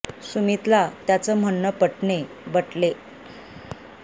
सुमित ला त्याच म्हणने पटले हो बाबा नक़्क़ी चालेल